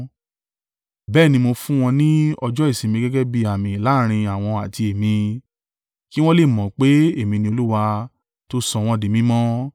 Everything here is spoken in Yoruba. Bẹ́ẹ̀ ni mo fún wọn ní ọjọ́ ìsinmi gẹ́gẹ́ bí àmì láàrín àwọn àti èmi, kí wọn lè mọ̀ pé èmi ni Olúwa tó sọ wọn di mímọ́.